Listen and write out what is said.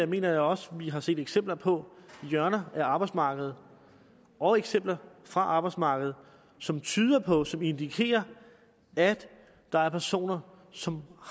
mener jeg også vi har set eksempler på hjørner af arbejdsmarkedet og eksempler fra arbejdsmarkedet som tyder på som indikerer at der er personer som